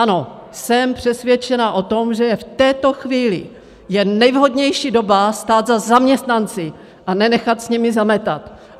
Ano, jsem přesvědčena o tom, že v této chvíli je nejvhodnější doba stát za zaměstnanci a nenechat s nimi zametat.